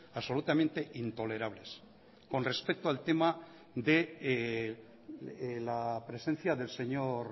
absolutamente intolerables con respecto al tema de la presencia del señor